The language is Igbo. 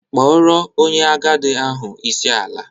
Kpọrọ onye agadi ahụ isi ala!